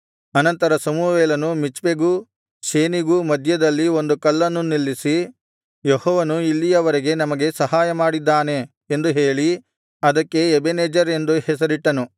ಅನಂತರ ಸಮುವೇಲನು ಮಿಚ್ಪೆಗೂ ಶೇನಿಗೂ ಮಧ್ಯದಲ್ಲಿ ಒಂದು ಕಲ್ಲನ್ನು ನಿಲ್ಲಿಸಿ ಯೆಹೋವನು ಇಲ್ಲಿಯವರೆಗೆ ನಮಗೆ ಸಹಾಯಮಾಡಿದ್ದಾನೆ ಎಂದು ಹೇಳಿ ಅದಕ್ಕೆ ಎಬೆನೆಜೆರ್ ಎಂದು ಹೆಸರಿಟ್ಟನು